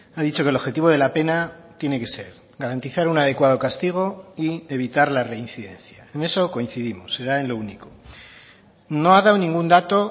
ha dicho que el objetivo de la pena tiene que ser garantizar un adecuado castigo y evitar la reincidencia en eso coincidimos será en lo único no ha dado ningún dato